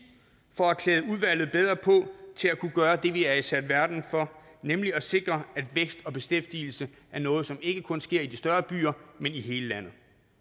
for at klæde udvalget bedre på til at kunne gøre det vi er sat i verden for nemlig at sikre at vækst og beskæftigelse er noget som ikke kun sker i de større byer men i hele landet